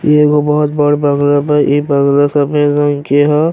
इ एगो बहुत बड बंगला बा। इ बंगला सामने एगो के ह।